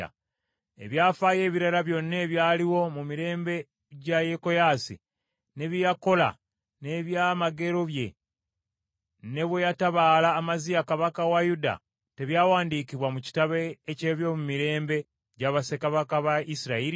Ebyafaayo ebirala byonna ebyaliwo mu mirembe gya Yekoyaasi, ne bye yakola n’ebyamagero bye, ne bwe yatabaala Amaziya kabaka wa Yuda, tebyawandiikibwa mu kitabo eky’ebyomumirembe gya bassekabaka ba Isirayiri?